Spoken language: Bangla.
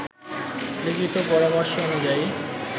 লিখিত পরামর্শ অনুযায়ী